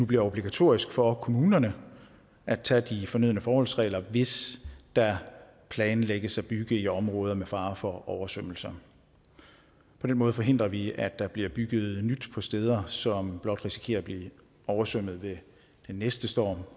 bliver obligatorisk for kommunerne at tage de fornødne forholdsregler hvis der planlægges at bygge i områder med fare for oversvømmelser på den måde forhindrer vi at der bliver bygget nyt på steder som blot risikerer at blive oversvømmet ved den næste storm